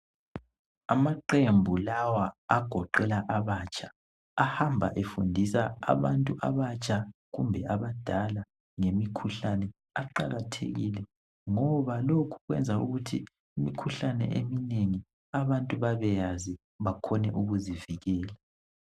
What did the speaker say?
Amaqembu lawa agoqela abatsha ahamba efundisa abantu abatsha kumbe abadala ngemikhuhlane. Aqakathekile ngoba lokhu kwenza ukuthi imikhuhlane eminengi abantu babeyazi bakhone ukuzivikela.